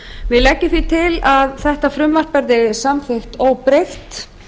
við leggjum því til að frumvarpið verði samþykkt óbreytt